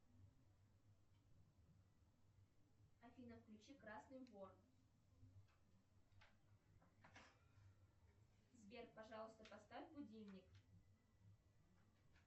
афина включи красный вор сбер пожалуйста поставь будильник